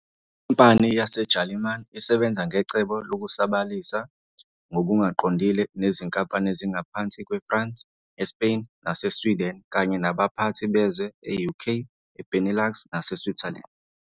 Inkampani yaseJalimane isebenza ngecebo lokusabalalisa ngokungaqondile nezinkampani ezingaphansi kweFrance, eSpain naseSweden kanye nabaphathi bezwe e-UK, Benelux naseSwitzerland.